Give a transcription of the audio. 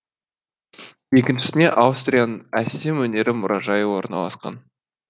екіншісінде астурияның әсем өнер мұражайы орналасқан